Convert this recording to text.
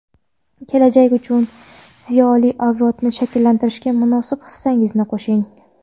kelajak uchun ziyoli avlodni shakllantirishga munosib hissangizni qoʼshing!.